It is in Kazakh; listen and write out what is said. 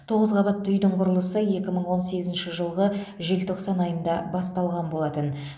тоғыз қабатты үйдің құрылысы екі мың он сегізінші жылғы желтоқсан айында басталған болатын